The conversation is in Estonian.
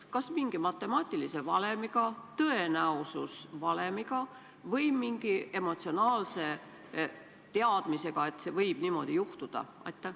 Kas mingi matemaatilise valemiga, tõenäosusvalemiga või mingi emotsionaalse teadmisega, et niimoodi võib juhtuda?